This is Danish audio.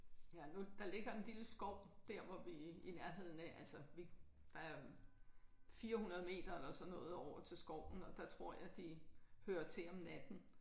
Ja nu der ligger en lille skov der hvor vi i nærheden af altså vi der er 400 meter eller sådan noget over til skoven og der tror jeg de hører til om natten